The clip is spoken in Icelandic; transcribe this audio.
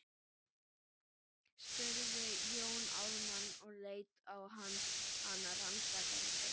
spurði Jón Ármann og leit á hana rannsakandi.